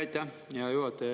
Aitäh, hea juhataja!